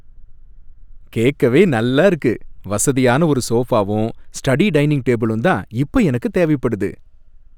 கேக்கவே நல்லா இருக்கு! வசதியான ஒரு சோபாவும் ஸ்டடி டைனிங் டேபிளும் தான் இப்போ எனக்கு தேவைப்படுது.